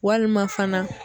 Walima fana